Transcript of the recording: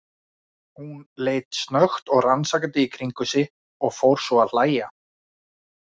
Hún leit snöggt og rannsakandi í kringum sig og fór svo að hlæja.